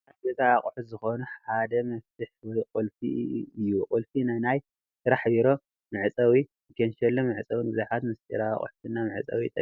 ካብ ገዛ ኣቑሑት ዝኾኑ ሓደ መፍቱሕ ወይ ቁልፊ እዩ፡፡ ቁልፊ ንናይ ስራሕ ቢሮ መዕፀዊ፣ ንካንሼሎ መዕፀው፣ ንብዙሓት ምስጥራዊ ኣቕሑትና መዕፀዊ ይጠቅም፡፡